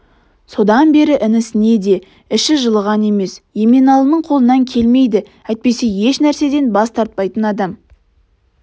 содан бері інісіне де іші жылыған емес еменалының қолынан келмейді әйтпесе еш нәрседен бас тартпайтын адам